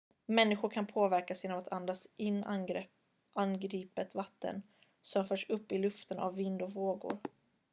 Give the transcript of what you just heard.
människor kan påverkas genom att andas in angripet vatten som förts upp i luften av vind och vågor